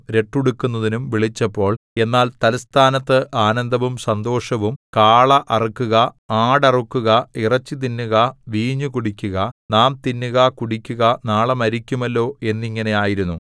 രട്ടുടുക്കുന്നതിന്നും വിളിച്ചപ്പോൾ എന്നാൽ തല്‍സ്ഥാനത്ത് ആനന്ദവും സന്തോഷവും കാള അറുക്കുക ആടറുക്കുക ഇറച്ചിതിന്നുക വീഞ്ഞു കുടിക്കുക നാം തിന്നുക കുടിക്കുക നാളെ മരിക്കുമല്ലോ എന്നിങ്ങനെ ആയിരുന്നു